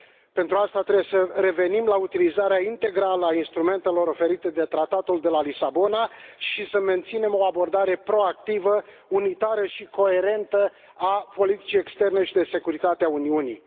Pentru aceasta, trebuie să revenim la utilizarea integrală a instrumentelor oferite de Tratatul de la Lisabona și să menținem o abordare proactivă, unitară și coerentă a politicii externe și de securitate a Uniunii.